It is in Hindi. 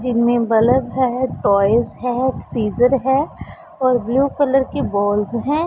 जिनमें बल्ब है टॉयज है एक सीजर है और ब्लू कलर की बॉल्स हैं।